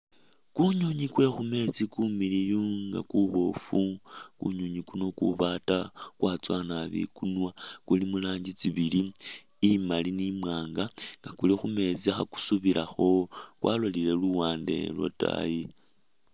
Kunyonyi kwe khumeetsi kumiliiyu nga kuboofu, kunyonyi kuno kubaata, kwatsowa naabi ikunwa kuli muranji tsibili, imaali ne imwanga, kuli khumeetsi khakusubilakho kwalolile luwande lwataayi.